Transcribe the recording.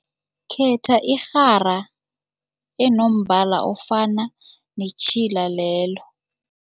Khetha irhara enombala ofana netjhila lelo.